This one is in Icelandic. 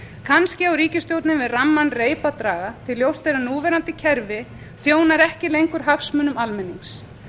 á ríkisstjórnin við ramman reip að draga því að ljóst er að núverandi kerfi þjónar ekki lengur hagsmunum almennings